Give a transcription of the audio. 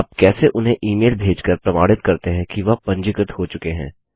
आप कैसे उन्हें इमेल भेजकर प्रमाणित करते हैं कि वह पंजीकृत हो चुके हैं